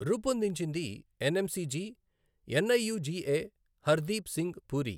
రూపొందించింది NMCG, NIUGA Hardeep Singh puri